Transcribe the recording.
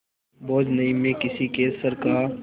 बोझ नहीं मैं किसी के सर का